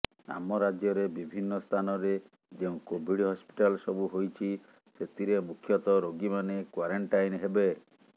ଆମ ରାଜ୍ୟରେ ବିଭିନ୍ନ ସ୍ଥାନରେ ଯେଉଁ କୋଭିଡ୍ ହସ୍ପିଟାଲ୍ ସବୁ ହୋଇଛି ସେଥିରେ ମୁଖ୍ୟତଃ ରୋଗୀମାନେ କ୍ବାରେଣ୍ଟାଇନ୍ ହେବେ